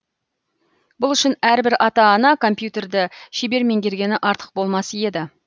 бұл үшін әрбір ата ана компьютерді шебер меңгергені артық болмас еді